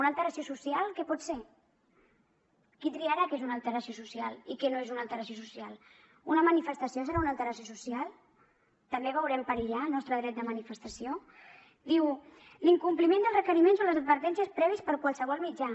una alteració social què pot ser qui triarà què és una alteració social i què no és una alteració social una manifestació serà una alteració social també veurem perillar el nostre dret de manifestació diu l’incompliment dels requeriments o les advertències prèvies per qualsevol mitjà